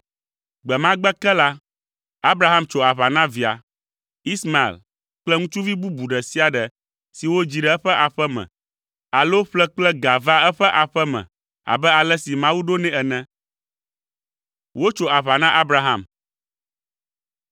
Gbe ma gbe ke la, Abraham tso aʋa na via, Ismael kple ŋutsuvi bubu ɖe sia ɖe si wodzi ɖe eƒe aƒe me alo ƒle kple ga va eƒe aƒe me abe ale si Mawu ɖo nɛ ene.